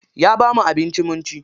Ya bamu abinci mun ci.